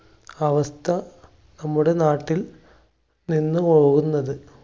അവസ്ഥ നമ്മുടെ നാട്ടിൽ നിന്ന് പോകുന്നത്.